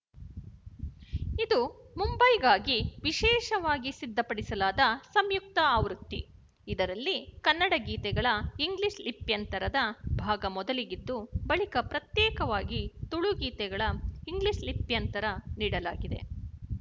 ಇದು ಮುಂಬೈಗಾಗಿ ವಿಶೇಷವಾಗಿ ಸಿದ್ಧಪಡಿಸಲಾದ ಸಂಯುಕ್ತ ಆವೃತ್ತಿ ಇದರಲ್ಲಿ ಕನ್ನಡ ಗೀತೆಗಳ ಇಂಗ್ಲಿಶ ಲಿಪ್ಯಂತರದ ಭಾಗ ಮೊದಲಿಗಿದ್ದು ಬಳಿಕ ಪ್ರತ್ಯೇಕವಾಗಿ ತುಳು ಗೀತೆಗಳ ಇಂಗ್ಲಿಶ ಲಿಪ್ಯಂತರ ನೀಡಲಾಗಿದೆ